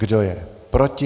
Kdo je proti?